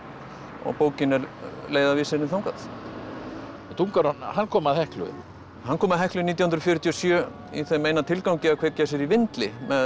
og bókin er leiðarvísirinn þangað hann kom að Heklu hann kom að Heklu nítján hundruð fjörutíu og sjö í þeim eina tilgangi að kveikja sér í vindli með